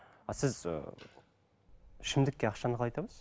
а сіз ыыы ішімдікке ақшаны қалай табасыз